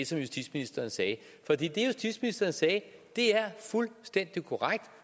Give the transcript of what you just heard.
som justitsministeren sagde for det justitsministeren sagde er fuldstændig korrekt